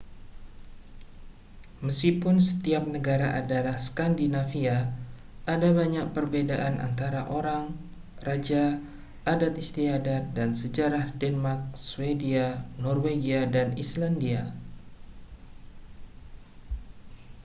meskipun setiap negara adalah skandinavia' ada banyak perbedaan antara orang raja adat istiadat dan sejarah denmark swedia norwegia dan islandia